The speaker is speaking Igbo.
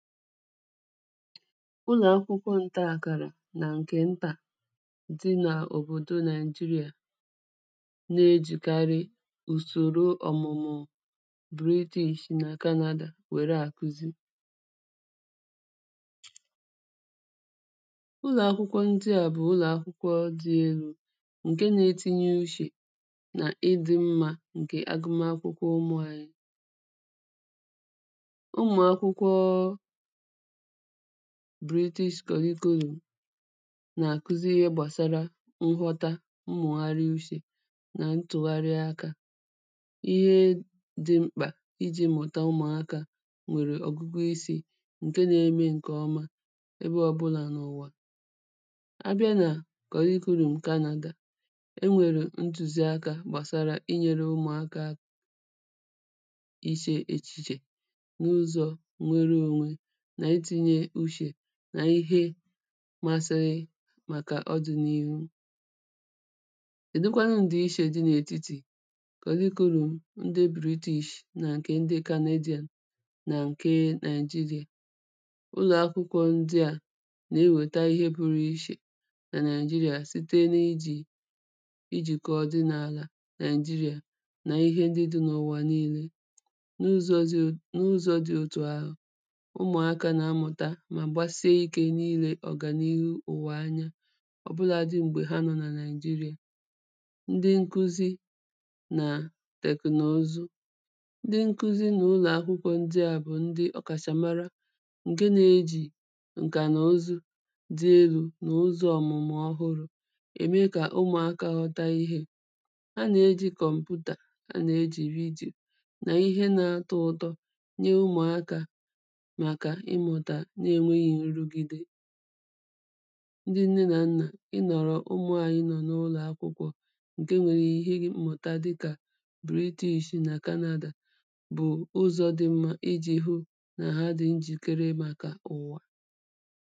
Ụlọ̀akwụkwọ ǹtaàkàrà nà ǹkè ntà dị nà òbòdo Nigeria, na-ejìkarị ùsòro ọ̀mụ̀mụ̀ British nà Canada wère àkụzi. ụlọ̀akwụkwọ ndị à bụ̀ ụlọ̀akwụkwọ dị elū ǹke na-etinye ushè nà ịdị̄ mmā ǹkè agụmakwụkwọ ǹkè ụmụ̄ anyị. ụmụ̀akwụkwọ British curriculum nà-àkụzi ihe gbàsara nghọta mmụ̀gharị ushè nà ntụ̀gharị akā ihe dị mkpà ijī mụ̀ta ụmụ̀akā nwèrè ọ̀gụgụ isī ǹke na-eme ǹkè ọma ebe ọbụlà n’ụ̀wà. abịa nà curriculum Canada e nwèrè ntụ̀ziakā gbàsara inyēre ụmụ̀akā ishè echìchè n’ụzọ̄ nwere onwe nà itīnye ushè nà ihe masị màkà ọdị̄nihu kèdụkwanụ ǹdìishē dị n’ètitì curriculum ndị British nà ǹkè ndị Canadian, nà ǹke Nigeria? ụlọ̀akwụkwọ̄ ndị à nà-ewèta ihe pụrụ ishè nà Nigeria site nà ijī ijìkọ̀ ọ̀dịnàlà Nigeria nà ihe ndị dị n’ụ̀wà niīle n’ụzọ̄ zị, n’ụzọ̄ dị òtù ahụ̀ ụmụ̀akā nà-amụ̀ta mà gbasie ikē n’ilē ọ̀gànihu ụ̀wà anya ọ̀bụladị̄ m̀gbè ha nọ̀ nà Nigeria. ndị nkụzi nà tẹ̀knozu ndị nkụzi n'ụlọ̀akwụkwọ ndị à bụ̀ ndị ọ̀kàshà mara ǹke na-ejì ǹkà nà ozu dị elū nà ụzọ̄ ọ̀mụ̀mụ̀ ọhụrụ̄ ème kà ụmụ̀akā ghọta ihē. ha nà-ejī kọmputa ha nà-ejì redio nà ihe na-atọ ụtọ nye ụmụ̀akā màkà ịmụ̀tà na enwēghị nrụgide ndị nne nà nnà ịnọ̀rọ̀ ụmụ̄ anyị nọ̀ n’ụlọ̀akwụkwọ̄ ǹke nwere ihe mmụ̀ta dị kà British nà Canada bụ̀ ụzọ̄ dị mmā ijī hụ nà ha dị njìkere màkà ụ̀wà